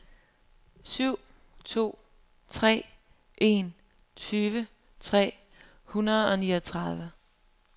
syv to tre en tyve tre hundrede og niogtredive